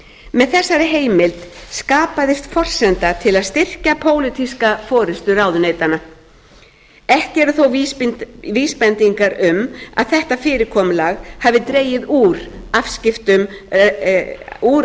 með þessari heimild skapaðist forsenda til að styrkja pólitísk forustu ráðuneytanna ekki eru þó vísbendingar um að þetta fyrirkomulag hafi dregið úr